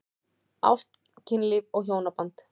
Ást, kynlíf og hjónaband